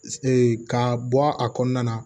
ka bɔ a kɔnɔna na